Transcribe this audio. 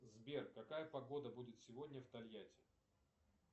сбер какая погода будет сегодня в тольятти